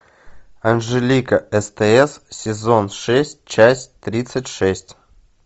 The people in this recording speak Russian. анжелика стс сезон шесть часть тридцать шесть